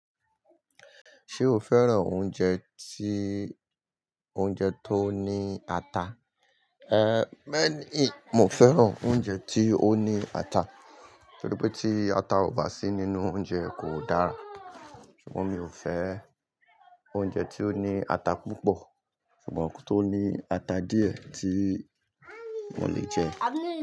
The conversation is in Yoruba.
Ṣé o fẹ́ràn oúnjẹ tí, oúnjẹ tó ní ata? Ehn, beẹ́ ni, mo fẹ́ràn oúnjẹ tí ó ní ata, torí pé tí ata ò bá sí nínú oúnjẹ kò dára. Ṣùgbọ́n mi ò fẹ́ oúnjẹ tí ó ní ata púpọ̀, ṣùgbọ́n tó ní ata díẹ̀ tí mo lè jẹ.